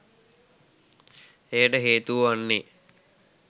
එයට හේතුව වන්නේ